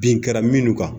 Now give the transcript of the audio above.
Bin kɛra minnu kan